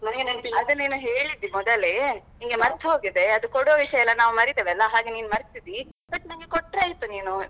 ಅದೇ ನಿನ್ ಹೇಳಿದ್ದೆ ಮೊದಲೇ ನಿನ್ಗೆ ಮರ್ತ್ಹೋಗಿದೆ ಅದು ಕೊಡೊ ವಿಷಯೆಲ್ಲಾ ನಾವ್ ಮರೆತೆವಲ್ವಾ ಹಾಗೆ ನಿನ್ ಮರ್ತಿದ್ದೀ but ನಂಗೆ ಕೊಟ್ರೆ ಆಯ್ತು ನೀನು.